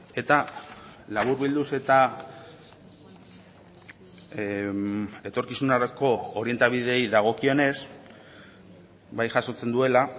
eta laburbilduz eta etorkizunerako orientabideei dagokionez bai jasotzen duela